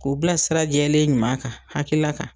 K'u bila sira jɛlen ɲuman kan hakilila kan.